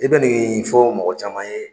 I bɛ nin fɔ mɔgɔ caman ye